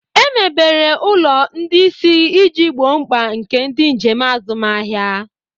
Emebere ụlọ ndị isi iji gboo mkpa nke ndị njem azụmahịa.